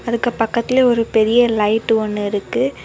அதுக்கு பக்கத்திலேயே ஒரு பெரிய லைட் ஒன்னு இருக்கு.